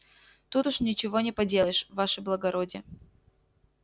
тут уж ничего не поделаешь ваше благородие